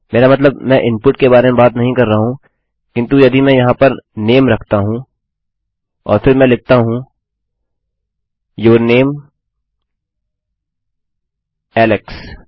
मेरा मतलब मैं इनपुट के बारे में बात नहीं कर रहा हूँ किन्तु यदि मैं यहाँ पर नामे रखता हूँ और फिर मैं लिखता हूँ यूर नामे एलेक्स